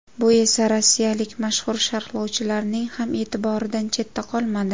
Bu esa rossiyalik mashhur sharhlovchilarning ham e’tiboridan chetda qolmadi.